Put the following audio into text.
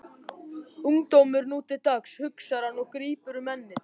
Ungdómurinn nú til dags, hugsar hann og grípur um ennið.